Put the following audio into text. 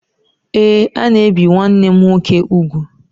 Ee, a na-ebi nwanne m nwoke ugwu.